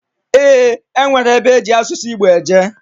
Eeǃ E nwere ebe eji asụsụ Igbo eje.